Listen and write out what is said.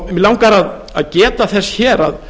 mig langar að geta þess hér að